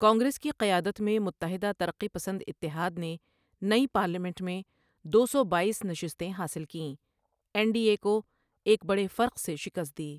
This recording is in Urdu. کانگریس کی قیادت میں متحدہ ترقی پسند اتحاد نے نئی پارلیمنٹ میں دو سو بایس نشستیں حاصل کیں، این ڈی اے کو ایک بڑے فرق سے شکست دی۔